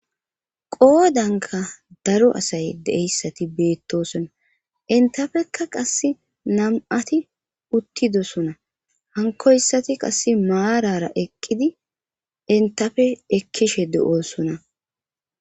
Qoodanka daro asay deeyssati beettosona intafekka qass nam7ati uttidosona hankoyssati qasse maarara eqqidi intafe ekkishe du7oosona